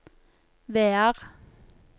Vear